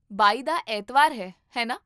ਬਾਈ ਦਾ ਐਤਵਾਰ ਹੈ, ਹੈ ਨਾ?